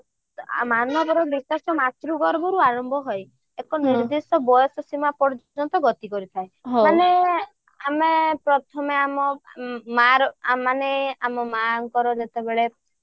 ମାନବର ବିକାଶ ମାତୃଗର୍ଭରୁ ଆରମ୍ଭ ହୋଇ ଏକ ନିର୍ଦ୍ଦିଷ୍ଟ ବୟସସୀମା ପର୍ଯ୍ୟନ୍ତ ଗତି କରିଥାଏ ମାନେ ଆମେ ପ୍ରଥମ ଆମ ମାରା ମାନେ ଆମ ମାଙ୍କର ଯେତେବେଳେ